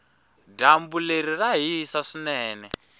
dyambu leri ra hisa swinene